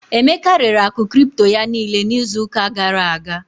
Emeka rere akụ cripto ya niile n'izu ụka gara aga.